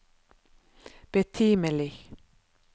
betimelig